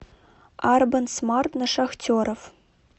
арбан смарт на шахтеров